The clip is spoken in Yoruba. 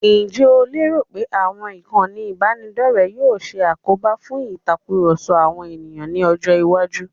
Ǹjẹ́ o lérò pé àwọn ìkànnì ìbánidọ́rẹ̀ẹ́ yóò ṣe àkóbá fún ìtakurọ̀sọ àwọn ènìyàn ní ọjọ́-iwájú?